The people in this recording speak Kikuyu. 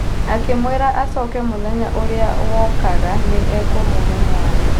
Akĩmwĩra acoke mũthenya ũrĩa wokaga nĩ akũmũhe mwana.